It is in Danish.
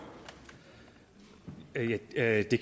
det er i